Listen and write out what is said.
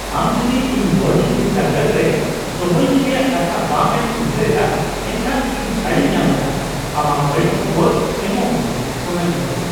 ᱟᱢ ᱡᱩᱫᱤ ᱤᱧ ᱵᱳᱨᱰᱤᱝ ᱵᱤᱨᱫᱟᱹᱜᱟᱲ ᱨᱮ ᱫᱚᱦᱚᱭᱤᱧ ᱨᱮᱭᱟᱜ ᱠᱟᱛᱷᱟ ᱵᱟᱝᱼᱮᱢ ᱩᱭᱦᱟᱹᱨ ᱮᱫᱟ, ᱮᱱᱠᱷᱟᱱ ᱤᱧ ᱪᱷᱟᱹᱲᱤᱧ ᱧᱟᱢ ᱮᱫᱟ ᱾ ᱟᱢᱟᱜ ᱵᱟᱹᱲᱤᱡ ᱠᱷᱚᱵᱚᱨ ᱚᱢᱚᱜ ᱢᱮ ᱾ (ᱠᱚᱲᱟ ᱜᱤᱫᱽᱨᱟᱹ)